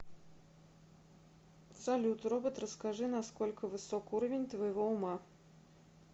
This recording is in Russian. салют робот расскажи на сколько высок уровень твоего ума